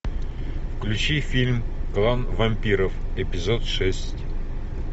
включи фильм клан вампиров эпизод шесть